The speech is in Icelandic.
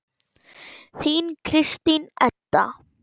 Þín Kristín Edda.